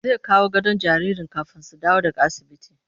Zai kawo gadon jaririn kafin su dawo daga asibiti